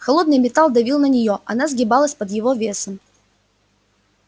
холодный металл давил на неё она сгибалась под его весом